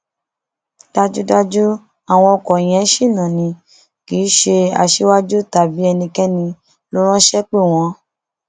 dájúdájú àwọn ọkọ yẹn ṣìnà ni kì í ṣe aṣíwájú tàbí ẹnikẹni ló ránṣẹ pè wọn